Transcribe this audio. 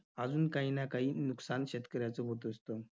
अजून काही ना काही नुकसान शेतकऱ्याचं होत असतं.